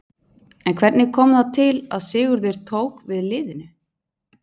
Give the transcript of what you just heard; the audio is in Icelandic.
En hvernig kom það til að Sigurður tók við liðinu?